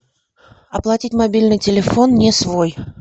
оплатить мобильный телефон не свой